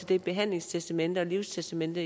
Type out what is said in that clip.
det behandlingstestamente og livstestamente